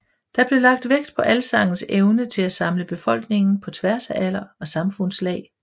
Der blev lagt vægt på alsangens evne til at samle befolkningen på tværs af alder og samfundslag